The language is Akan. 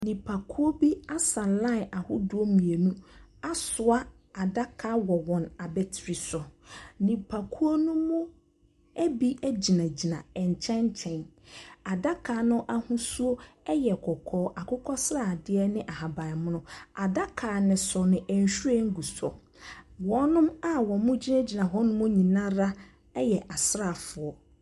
Nnipakuw bi asa line ahodoɔ mmienu asoa adaka wɔ wɔn abetri so. Nnipakuo no mu ebi gyinagyina nkyɛn nkyɛn. Adaka no ahosuo yɛ kɔkɔɔ. Akokɔsradeɛ ne ahabanmono. Ada no so no, nhwiren gu so. Wɔn a wɔgyinagyina yɛ astrafoɔ.